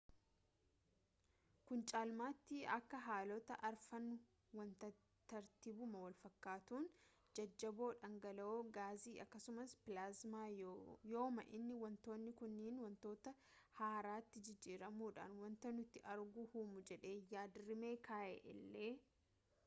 kun caalmaatti akka haalota arfan wantaati tartiibuma walfakkaatuun: jajjaboo dhangala’oo gaasii akkasumas pilaazmaa yooma inni wantoonni kunniin wantoota haaraatti jijjiiramuudhaan wanta nuti agarru uumu jedhee yaad-rimee kaa’e illee